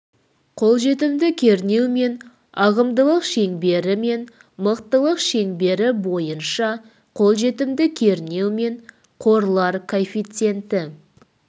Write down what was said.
қолжетімді кернеу мен ағымдылық шеңбері мен мықтылық шеңбері бойынша қолжетімді кернеу мен қорлар коэффициенті